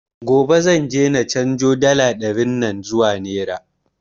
Gobe zan je na canzo dala ɗarin nan zuwa nera